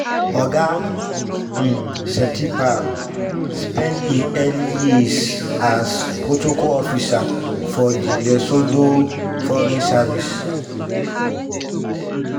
oga um setipa spend im early years as protocol officer for di lesotho foreign service.